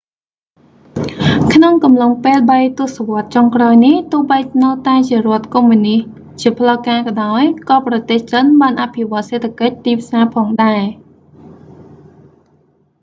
ក្នុងកំឡុងពេលបីទសវត្សចុងក្រោយនេះ ទោះបីនៅតែជារដ្ឋកុម្មុយនិស្តជាផ្លូវការក៏ដោយ ក៏ប្រទេសចិនបានអភិវឌ្ឍសេដ្ឋកិច្ចទីផ្សារផងដែរ